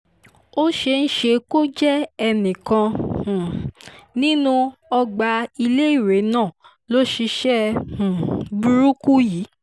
ó ṣeé ṣe kó jẹ́ ẹnìkan um nínú ọgbà iléèwé náà ló ṣiṣẹ́ um burúkú yìí